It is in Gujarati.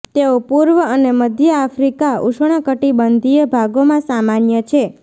તેઓ પૂર્વ અને મધ્ય આફ્રિકા ઉષ્ણકટિબંધીય ભાગોમાં સામાન્ય છે